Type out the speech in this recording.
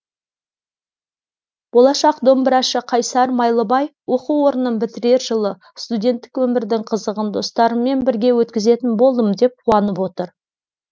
болашақ домбырашы қайсар майлыбай оқу орнын бітірер жылы студенттік өмірдің қызығын достарыммен бірге өткізетін болдым деп қуанып отыр